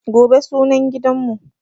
Gobe sunan gidanmu.